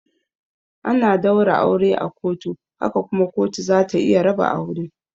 Ana daura aure a kotu haka kuma kotu zata iya raba aure.